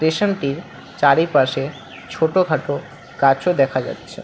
স্টেশনটির চারিপাশে ছোটখাটো গাছও দেখা যাচ্ছে।